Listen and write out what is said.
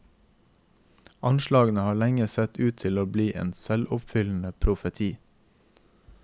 Anslagene har lenge sett ut til å bli en selvoppfyllende profeti.